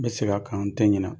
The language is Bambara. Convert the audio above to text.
N bɛ seg'a kan n tɛ ɲina.